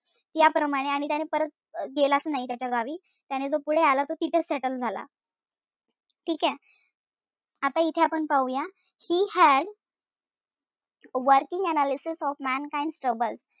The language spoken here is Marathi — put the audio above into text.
याप्रमाणे आणि त्याने परत गेलाच नाई त्याच्या गावी. त्याने जो पुढे आला तो तिथेच settle झाला. ठीकेय? आता इथे आपण पाहूया he had working analysis of mankinds troubles.